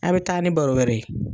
A' bɛ taa ni baro wɛrɛ ye.